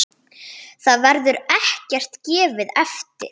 Þar verður ekkert gefið eftir.